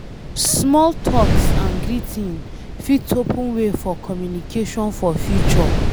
Small talks and greeting fit open way for communication for future